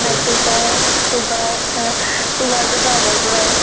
high pressure, sugar। sugar তো আগৰ পৰায়ে।